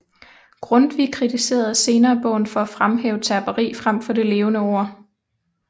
Grundtvig kritiserede senere bogen for at fremhæve terperi frem for det levende ord